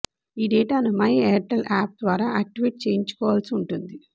ఈ డేటాను my Airtel app ద్వారా యాక్టివేట్ చేయించుకోవాల్సి ఉంటుంది